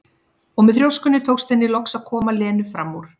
Og með þrjóskunni tókst henni loks að koma Lenu fram úr.